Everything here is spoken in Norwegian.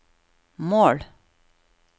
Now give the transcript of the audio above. mål